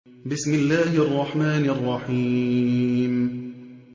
بِسْمِ اللَّهِ الرَّحْمَٰنِ الرَّحِيمِ